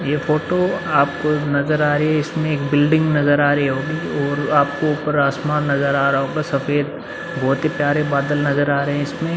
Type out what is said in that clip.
ये फोटो आपको नजर आ रही है। इसमें एक बिल्डिंग नजर आ रही होंगी और आपको ऊपर आसमान नजर आ रहा होगा सफ़ेद बोहोत ही प्यारे बादल नजर आ रहे हैं इसमें।